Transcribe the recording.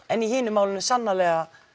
en í hinu málinu sannarlega